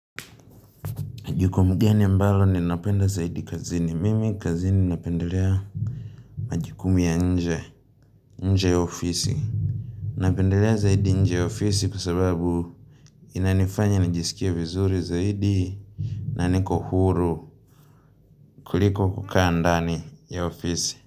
Ni jukumu gani ambalo ninapenda zaidi kazini, mimi kazini napendelea Majikumu ya nje, nje ya ofisi Napendelea zaidi nje ya ofisi kusababu Inanifanya nijisikia vizuri zaidi na niko huru kuliko kukaa ndani ya ofisi.